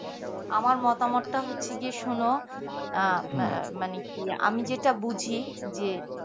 আমার মতামত টা হচ্ছে কি শোনো আহ মানে কি আমি যেটা বুঝি যে